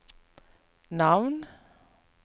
navn